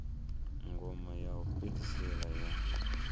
ngoma ya u fhedzisela ya